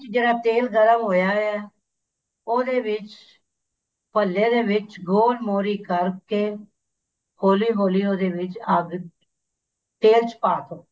ਜਿਹੜਾ ਤੇਲ ਗਰਮ ਹੋਇਆ ਹੈ ਉਹਦੇ ਵਿੱਚ ਭੱਲੇ ਦੇ ਵਿੱਚ ਗੋਲ ਮੋਰੀ ਕਰਕੇ ਹੋਲੀ ਹੋਲੀ ਉਹਦੇ ਵਿੱਚ ਅੱਗ ਤੇਲ ਚ ਪਾ ਦੋ